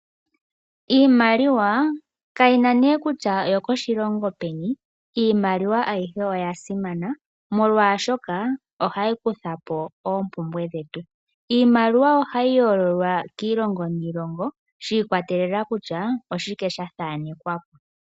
Iimaliwa kayina ne kusha oyo ko shilongo peni, iimaliwa ayihe oya simana molwashoka ohayi kutha po oompumbwe dhetu. Iimaliwa ohayi yololwa kiilongo niilongo shi ikwatelela kusha oshike sha thaanekwa po.